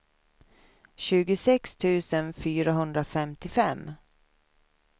tjugosex tusen fyrahundrafemtiofem